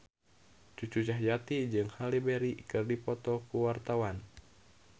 Cucu Cahyati jeung Halle Berry keur dipoto ku wartawan